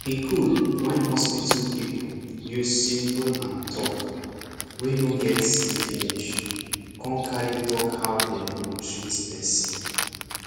e gud wen hospital people use simple and talk wey no get see finish con cari talk how dem go treat person